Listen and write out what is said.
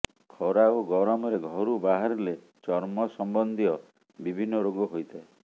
ଖରା ଓ ଗରମରେ ଘରୁ ବାହାରିଲେ ଚର୍ମ ସମ୍ବନ୍ଧୀୟ ବିଭିନ୍ନ ରୋଗ ହୋଇଥାଏ